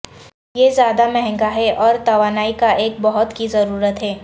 یہ زیادہ مہنگا ہے اور توانائی کا ایک بہت کی ضرورت ہے